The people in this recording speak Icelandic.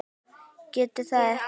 Getur það ekki.